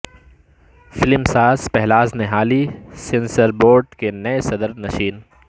film ساز Pahlaj Nihalani censor board کے نئے صدر نشین